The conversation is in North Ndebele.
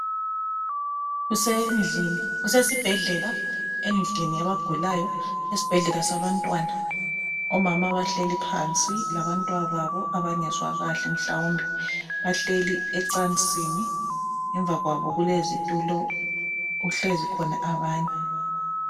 Kusendlini Kusesibhedlela endlini yabagulayo esibhedlela sabantwana. Omama bahleli phansi labantwababo abangezwa kahle mhlawumbe. Bahleli ecansini. Ngemva kwabo kulezitulo, kuhlezi khona abanye.